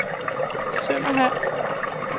Sønderhald